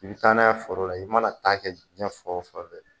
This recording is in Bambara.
I bɛ taana ye foro la i mana ta kɛ jiginɛ fɛn o fɛn .